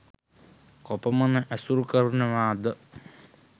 කොපමණ ඇසුරු කරනවාද?